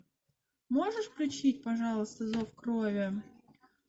можешь включить пожалуйста зов крови